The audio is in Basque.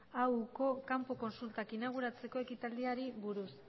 auoko kanpo kontsultak inauguratzeko ekitaldiari buruz